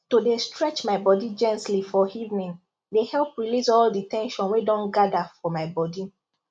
to dey stretch my body gently for evening dey help release all the ten sion wey don gather for my body